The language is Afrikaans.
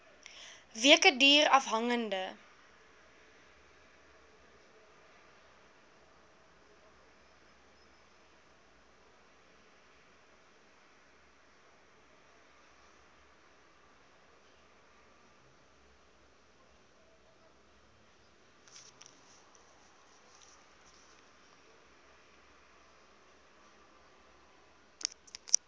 weke duur afhangende